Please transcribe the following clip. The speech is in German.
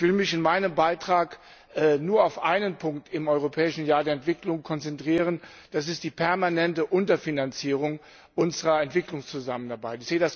Ich will mich in meinem Beitrag nur auf einen Punkt im Europäischen Jahr der Entwicklung konzentrieren, das ist die permanente Unterfinanzierung unserer Entwicklungszusammenarbeit.